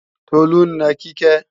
Tolú ń na Kíkẹ́